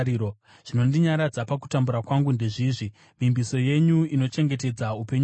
Zvinondinyaradza pakutambura kwangu ndezvizvi: Vimbiso yenyu inochengetedza upenyu hwangu.